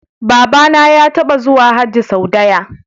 Babana ya taba zuwa aikin Hajji sau daya